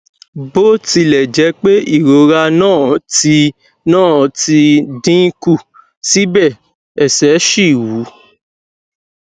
bó tilẹ jẹ pé ìrora náà ti náà ti dín kù síbẹ ẹsẹ ṣì wú